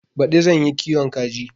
Baɗi zan yi kiwon kaji.